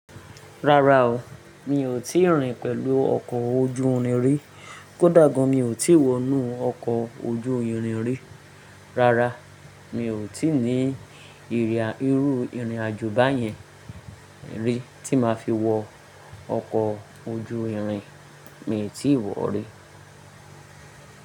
Rárá o, mi ò tí ì rìn pẹ̀lú ọkọ̀ ojú irin rí. Kódà gan mi ò tí wọ inú ọkọ̀ ojú irin rí. Rárá, mi ò tí ní ìri a, iru irin àjò báyẹn rí tí máa fi wọ ọkọ̀ ojú irin, mii tíi wọ̀ rí.